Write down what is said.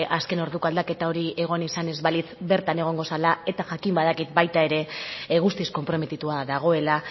azken orduko aldaketa hori egon izan ez balitz bertan egongo zela eta jakin badakit baita ere guztiz konprometitua dagoela